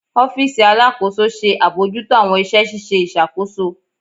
Ọfiisi Alakoso ṣe abojuto awọn iṣẹ ṣiṣe iṣakoso